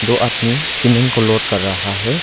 दो आदमी सीमेंट को लोड कर रहा है।